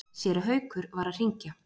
Séra Haukur var að hringja.